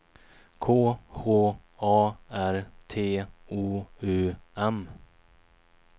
K H A R T O U M